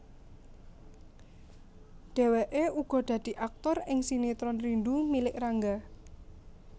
Dheweke uga dadi aktor ing sinetron Rindu Milik Rangga